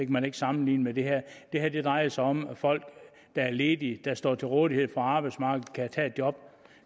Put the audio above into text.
man ikke sammenligne med det her det her drejer sig om at folk der er ledige og står til rådighed for arbejdsmarkedet kan tage et job